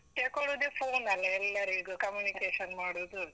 ತೆಕೊಳುದೇ phone ಅಲ್ಲ ಎಲ್ಲರಿಗೂ communication ಮಾಡುದು.